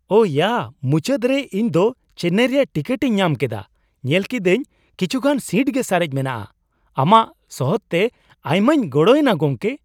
ᱚ ᱭᱟ ! ᱢᱩᱪᱟᱹᱫ ᱨᱮ ᱤᱧ ᱫᱚ ᱪᱮᱱᱱᱟᱭ ᱨᱮᱭᱟᱜ ᱴᱤᱠᱤᱴᱤᱧ ᱧᱟᱢ ᱠᱮᱫᱟ ᱾ ᱧᱮᱞ ᱠᱤᱫᱟᱹᱧ ᱠᱤᱪᱷᱩᱜᱟᱱ ᱥᱤᱴ ᱜᱮ ᱥᱟᱨᱮᱡ ᱢᱮᱱᱟᱜᱼᱟ ᱾ ᱟᱢᱟᱜ ᱥᱚᱦᱚᱫᱛᱮ ᱟᱭᱢᱟᱧ ᱜᱚᱲᱚᱭᱮᱱᱟ ᱜᱚᱢᱠᱮ ᱾